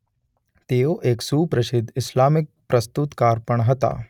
તેઓ એક સુપ્રસિદ્ધ ઇસ્લામિક પ્રસ્તુતકાર પણ હતા.